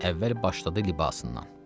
Əvvəl başladı libasından.